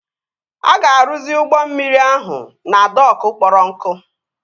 A ga-arụzi ụgbọ mmiri ahụ na dokụ kpọrọ nkụ